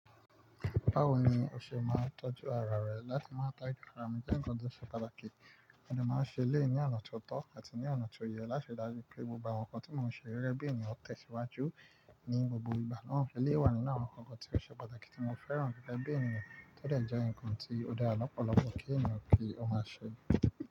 Báwo ni o ṣe máa ń tọ́jú ara rẹ láti má ta ìlera nígbà tó ṣe pàtàkì? Mo máa ń ṣe lẹ́ẹ̀ i ní ọ̀nà tó tọ́ àti ní ọ̀nà tó yẹ láti rí dájú pé gbogbo àwọn nǹkan tí mo ṣe gẹ́gẹ́ bí ènìyàn tẹ̀síwájú ní gbogbo ìgbà. Wọ́n ń ṣe lé wà nínú àwọn nǹkan tí ó ṣe pàtàkì tí mo fẹ́ràn rírẹ́ bí ènìyàn, tọ́ dẹ̀ já ǹkan tí ó dára lọ́pọ̀lọpọ̀ kí ènìyàn kì ó máa ṣe.